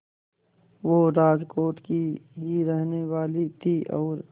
वो राजकोट की ही रहने वाली थीं और